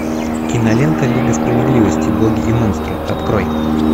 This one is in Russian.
кинолента лига справедливости боги и монстры открой